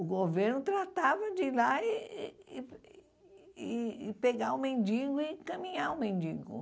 O governo tratava de ir lá e e e e pegar o mendigo e encaminhar o mendigo.